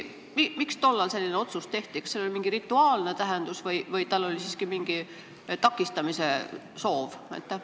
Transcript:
Miks tollal selline otsus tehti, kas sellel oli mingi rituaalne tähendus või oli siiski mingi takistamise soov?